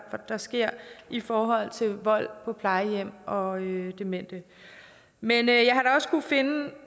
der sker i forhold til vold på plejehjem og demente men